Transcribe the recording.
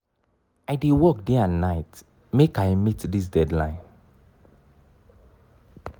i dey work day and night make i meet dis deadline.